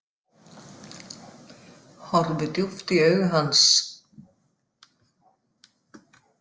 Horfi djúpt í augu hans.